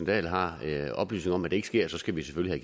dahl har oplysninger om at det ikke sker skal vi selvfølgelig